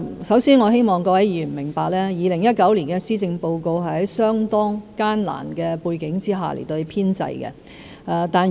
首先，我希望各位議員明白 ，2019 年施政報告是在相當艱難的背景下編製的。